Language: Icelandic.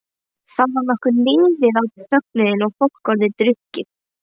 Þá var nokkuð liðið á fögnuðinn og fólk orðið drukkið.